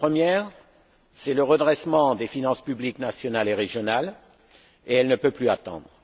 La première, c'est le redressement des finances nationales et régionales, et elle ne peut plus attendre.